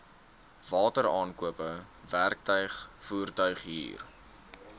wateraankope werktuig voertuighuur